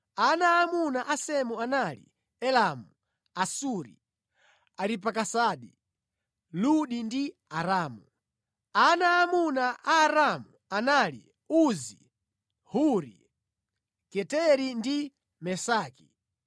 Ana aamuna a Semu anali: Elamu, Asuri, Aripakisadi, Ludi ndi Aramu. Ana aamuna a Aramu anali: Uzi, Huri, Geteri ndi Mesaki.